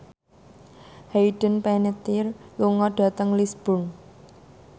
Hayden Panettiere lunga dhateng Lisburn